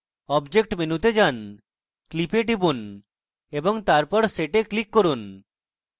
object মেনুতে যান clip এ টিপুন এবং তারপর set এ click করুন